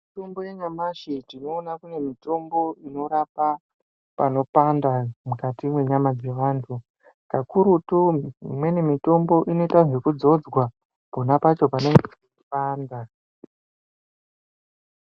Mitombo yanyamashi tinoona kune mitombo inorapa panopanda mukati mwenyama dzevantu, kakurutu imweni mitombo inoita zvekudzodzwa ponapacho panenge pechipanda.